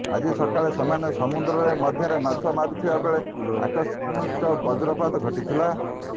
ଆଜି ସକାଳେ ସେମାନେ ସମୁଦ୍ର ମଧ୍ୟରେ ମାଛ ମାରୁଥିବା ବେଳେ ଆକସ୍ମିକ ବଜ୍ରପାତ ଘଟିଥିଲା